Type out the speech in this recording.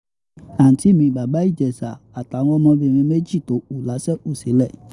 àùntí mi bàbá ìjẹsà àtàwọn ọmọbìnrin méjì tó kù la ṣe kú sílẹ̀